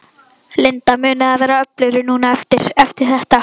Linda: Munið þið verða öflugri núna á eftir, eftir þetta?